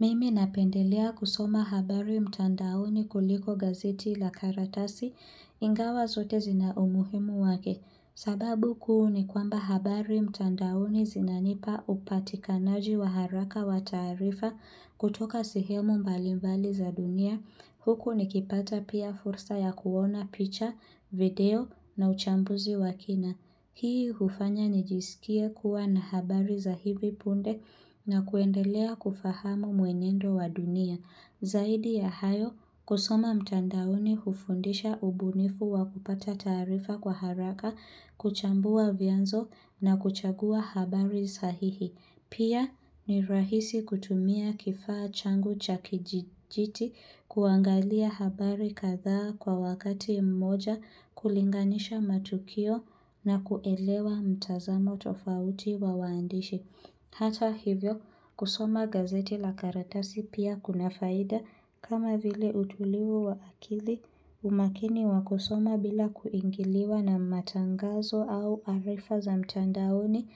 Mimi napendelea kusoma habari mtandaoni kuliko gazeti la karatasi, ingawa zote zina umuhimu wake. Sababu kuu ni kwamba habari mtandaoni zinanipa upatikanaji wa haraka wa taarifa kutoka sehemu mbalimbali za dunia, huku nikipata pia fursa ya kuona picha, video na uchambuzi wa kina. Hii hufanya nijisikie kuwa na habari za hivi punde na kuendelea kufahamu mwenendo wa dunia. Zaidi ya hayo, kusoma mtandaoni hufundisha ubunifu wa kupata taarifa kwa haraka, kuchambua vyanzo na kuchagua habari sahihi. Pia ni rahisi kutumia kifaa changu cha kijiti kuangalia habari kadhaa kwa wakati mmoja kulinganisha matukio na kuelewa mtazamo tofauti wa waandishi. Hata hivyo, kusoma gazeti la karatasi pia kuna faida kama vile utulivu wa akili umakini wa kusoma bila kuingiliwa na matangazo au arifa za mtandaoni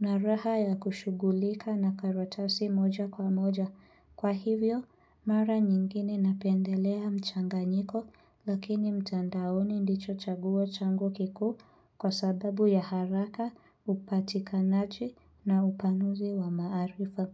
na raha ya kushughulika na karatasi moja kwa moja. Kwa hivyo, mara nyingine napendelea mchanganyiko, lakini mtandaoni ndicho chaguo changu kikuu kwa sababu ya haraka, upatikanaji na upanuzi wa maarifa.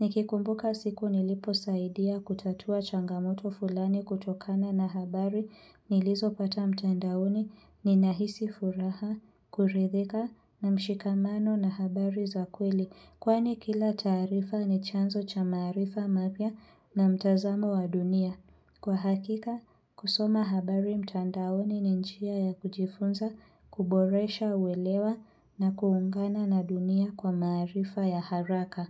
Nikikumbuka siku niliposaidia kutatua changamoto fulani kutokana na habari nilizopata mtandaoni ninahisi furaha, kurithika na mshikamano na habari za kweli. Kwani kila taarifa ni chanzo cha maarifa mapya na mtazamo wa dunia. Kwa hakika, kusoma habari mtandaoni ni njia ya kujifunza, kuboresha uelewa na kuungana na dunia kwa maarifa ya haraka.